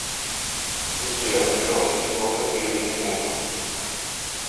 сбер миллион с тинькоффа переведи мужу